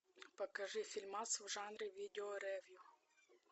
покажи фильмас в жанре видео ревью